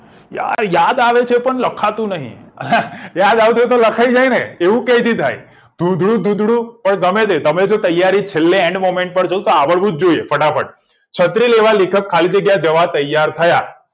અલ્યા યાદ આવે છે પણ લખાતું નહિ યાદ આવતું હોત તો લખાઈ જાય ને એવું ક્યાંથી થાય ધુંધળું ધુંધળું ગમેતે તમે તો છેલ્લે તૈયારી એટલે end moment પર જોતા આવડવું જ જોઈએ ફટાફટ છત્રી લેવા લેખક ખાલી જગ્યા તૈયાર થયા